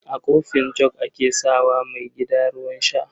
A kofin jug ake sa wa maigida ruwan sha.